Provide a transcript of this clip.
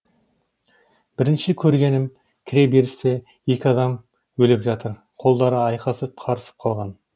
бірінші көргенім кіре берісте екі адам өліп жатыр қолдары айқасып қарысып қалған